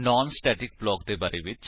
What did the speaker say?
naan static block ਦੇ ਬਾਰੇ ਵਿੱਚ